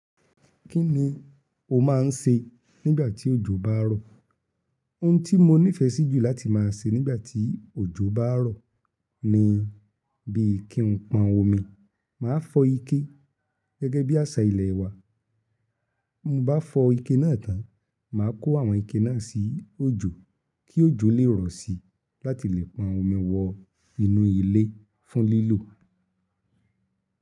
Kí ni o máa ń se nígbà tí òjò bá rọ̀? Ohun tí mo nífẹsí jù láti máa se nígbà tí òjò bá rọ̀ ni bí kí n pọn omi. Máa fọ́ ike gẹ́gẹ́ bí àṣà ilẹ̀ wa. M bá fọ́ ike náà tán, màá kó àwọn ike náà sí òjò kí òjò lè rọ̀ si láti lè pọn omi wọ inú ilé fún lílò.